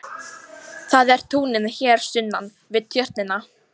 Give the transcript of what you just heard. Það eru túnin hér sunnan við Tjörnina.